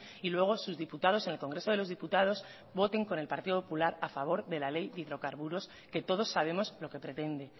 y luego sus diputados en el congreso de los diputados voten con el partido popular a favor de la ley de hidrocarburos que todos sabemos lo que pretende